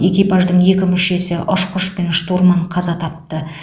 экипаждың екі мүшесі ұшқыш пен штурман қаза тапты